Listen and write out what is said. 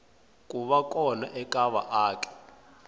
ku va kona ka vaaki